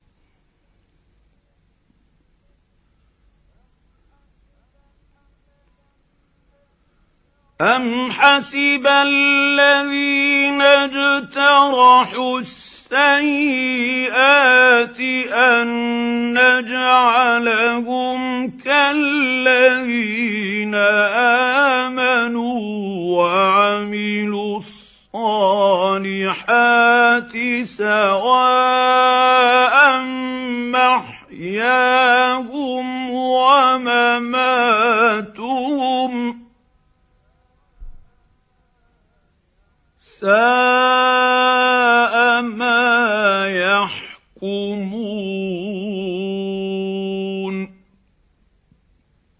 أَمْ حَسِبَ الَّذِينَ اجْتَرَحُوا السَّيِّئَاتِ أَن نَّجْعَلَهُمْ كَالَّذِينَ آمَنُوا وَعَمِلُوا الصَّالِحَاتِ سَوَاءً مَّحْيَاهُمْ وَمَمَاتُهُمْ ۚ سَاءَ مَا يَحْكُمُونَ